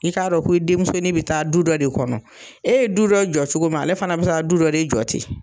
I k'a dɔn ko i denmusonin bɛ taa du dɔ de kɔnɔ. E ye du dɔ jɔ cogo min ale fana bɛ taa du dɔ de jɔ ten.